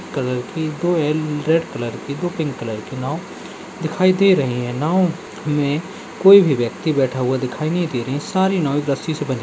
Colour की दो एल रेड कलर की दो पिंक कलर की नाव दिखाई दे रहीं हैं। नाव में कोई भी व्यक्ति बैठा हुआ दिखाई नही दे रही है। सारी नाव एक रस्सी से बंधी --